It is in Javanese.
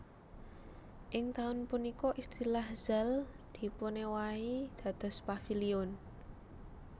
Ing taun punika istilah Zaal dipunéwahi dados Paviliun